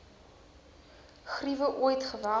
griewe ooit geweld